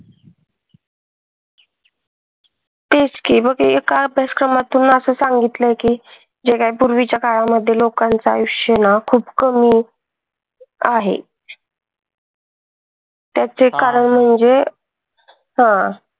तेच कि मग एका अभ्यासक्रमातून अस सांगितलय कि जेव्हा पूर्वीच्या काळामध्ये लोकांच आयुष्य ना खूप कमी आहे. त्याच एक कारण म्हणजे हा